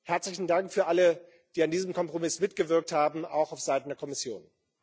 Herzlichen Dank an alle, die an diesem Kompromiss mitgewirkt haben, auch aufseiten der Kommission.